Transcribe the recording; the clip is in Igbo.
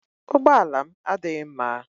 Ụgbọ ala m adịghị mma.